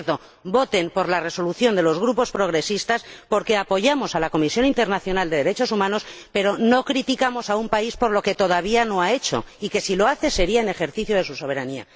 Y, por cierto, voten a favor de la resolución de los grupos progresistas, porque apoyamos la Comisión Internacional de Derechos Humanos pero no criticamos a un país por lo que todavía no ha hecho, y, si lo hace, sería en ejercicio de su soberanía.